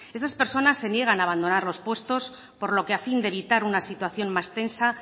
estas personas se niegan a abandonar los puestos por lo que a fin de evitar una situación más tensa